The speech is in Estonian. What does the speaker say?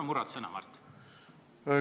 Miks sa murrad sõna, Mart?